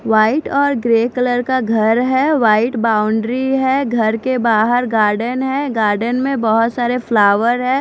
White और grey colour का घर है वाइट बाउंड्री है घर के बाहर गार्डेन है गार्डेन में बहोत सारे फ्लावर हैं।